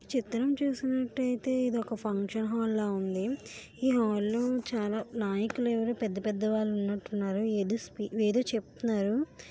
చిత్రం చూసినట్టయితే ఇది ఒక ఫంక్షన్ హాల్ లాగా ఉంది ఈ హాల్లో చాలా నాయకుల ఎవరో పెద్దపెద్ద వాళ్ళు ఉన్నట్టు ఉన్నారు ఏదో చెబుతున్నారు.